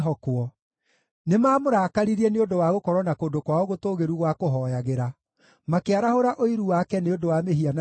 Nĩmamũrakaririe nĩ ũndũ wa gũkorwo na kũndũ kwao gũtũũgĩru gwa kũhooyagĩra; makĩarahũra ũiru wake nĩ ũndũ wa mĩhianano yao.